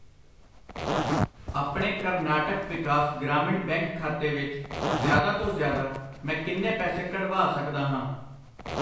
ਆਪਣੇ ਕਰਨਾਟਕ ਵਿਕਾਸ ਗ੍ਰਾਮੀਣ ਬੈਂਕ ਖਾਤੇ ਵਿੱਚ ਜ਼ਿਆਦਾ ਤੋਂ ਜ਼ਿਆਦਾ, ਮੈਂ ਕਿੰਨੇ ਪੈਸੇ ਕੱਢਵਾ ਸਕਦਾ ਹਾਂ ?